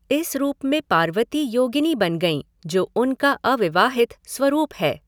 इस रूप में पार्वती योगिनी बन गईं, जो उनका अविवाहित स्वरूप है।